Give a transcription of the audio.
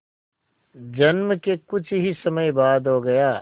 जन्म के कुछ ही समय बाद हो गया